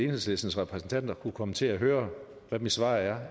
enhedslistens repræsentanter kunne komme til at høre hvad mit svar er